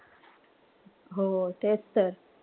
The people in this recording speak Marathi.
हो तेच तर.